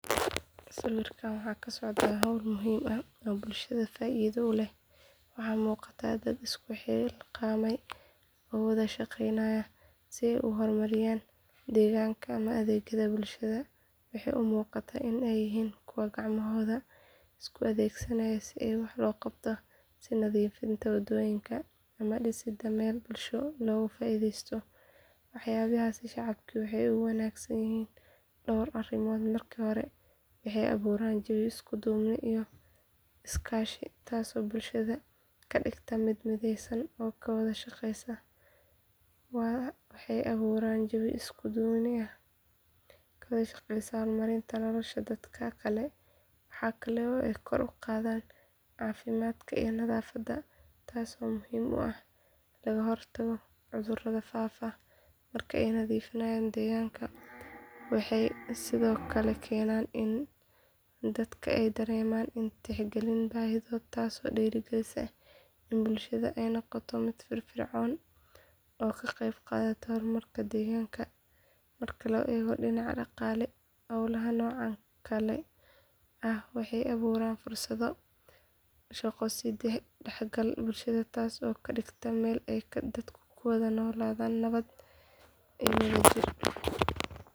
Sawirkaan waxa ka socda hawl muhiim ah oo bulshada faa’iido u leh waxaa muuqata dad isku xilqaamay oo wada shaqeynaya si ay u horumariyaan deegaanka ama adeegyada bulshada waxay u muuqataa in ay yihiin kuwo gacmahooda isku adeegsanaya si wax loo qabto sida nadiifinta waddooyinka ama dhisidda meel bulsho looga faa’iidaysto waxyaabahaasi shacabka waxay ugu wanaagsan yihiin dhowr arrimood marka hore waxay abuuraan jawi isku duubni iyo iskaashi taasoo bulshada ka dhigta mid mideysan oo ka wada shaqaysa horumarinta nolosha dadka kale waxaa kale oo ay kor u qaadaan caafimaadka iyo nadaafadda taasoo muhiim u ah in laga hortago cudurada faafa marka la nadiifiyo deegaanka waxay sidoo kale keenaan in dadka ay dareemaan in la tixgelinayo baahidooda taasoo dhiirrigelisa in bulshada ay noqoto mid firfircoon oo ka qaybqaadata horumarka deegaanka marka la eego dhinaca dhaqaale hawlaha noocan oo kale ah waxay abuuraan fursado shaqo iyo is dhexgal bulshada taas oo ka dhigta meel ay dadku ku wada noolaadaan nabad iyo wadajir.